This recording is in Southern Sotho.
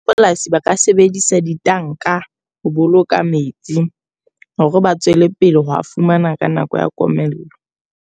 Polasi ba ka sebedisa ditanka ho boloka metsi. Hore ba tswele pele ho a fumana ka nako ya komello.